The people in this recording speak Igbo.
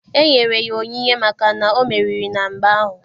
E nyere ya onyinye maka na o meriri na mgba ahụ.